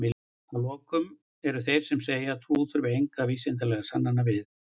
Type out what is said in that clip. að lokum eru þeir sem segja að trú þurfi engra vísindalegra sannana við